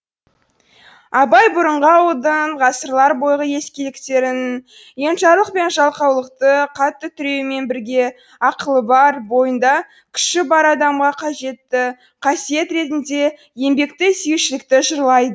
абай бұрынғы ауылдың ғасырлар бойғы ескіліктерін енжарлық пен жалқаулықты қатты түйреумен бірге ақылы бар бойында күші бар адамға қажетті қасиет ретінде еңбекті сүюшілікті жырлайды